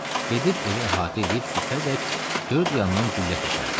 Gedib evi əhatə eləyib sübhədək dörd yandan güllə tökərdi.